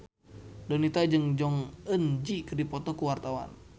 Donita jeung Jong Eun Ji keur dipoto ku wartawan